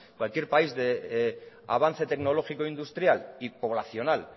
cualquier país de avance tecnológico industrial y poblacional